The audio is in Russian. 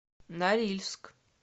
норильск